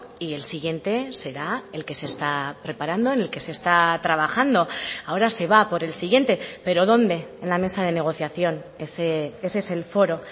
y el siguiente será el que se está preparando en el que se está trabajando ahora se va a por el siguiente pero dónde en la mesa de negociación ese es el foro